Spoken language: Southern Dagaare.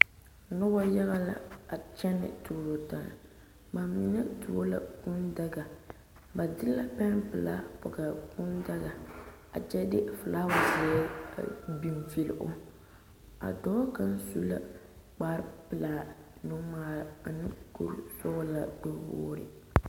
Noba yaga la a kyɛne tuuro taa bamine tuo la kūū daga ba de la peŋ pelaa poɔ a kūū daga a kyɛ de filaawa ziɛ a biŋ vile o a dɔɔ kaŋa su la kpare pelaa nu ŋmaare ane kuri sɔglaa gbɛ wogre.